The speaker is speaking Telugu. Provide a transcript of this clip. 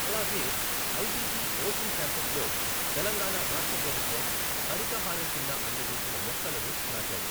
అలాగే ఐటిసి ఒషన్ క్యాంపస్లో తెలంగాణా రాష్ట్ర ప్రభుత్వం హరిత హారం కింద అందజేసిన మొక్కలను నాటారు.